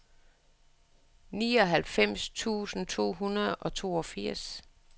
nioghalvfems tusind to hundrede og toogfirs